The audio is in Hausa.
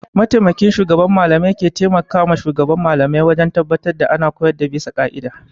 Mataimakin shugaban mallamai ke taimakawa shugaban Mallamai wajen tabbatar da ana koyarwa bisa ƙa'ida.